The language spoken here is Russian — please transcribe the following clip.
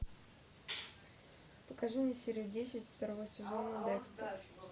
покажи мне серию десять второго сезона декстер